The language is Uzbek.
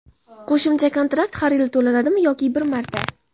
Qo‘shimcha kontrakt har yili to‘lanadimi yoki bir marta?.